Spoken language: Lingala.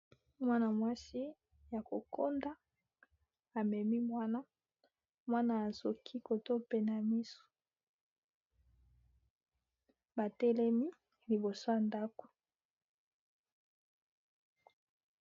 Mwana-mwasi, ya kokonda, amemi mwana. Mwana azoki koto oyo pene ya misu. Ba telemi liboso ya ndako.